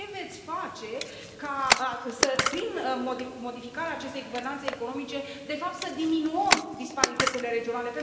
Ce veți face ca prin modificarea acestei guvernanțe economice, de fapt, să diminuăm disparitățile regionale?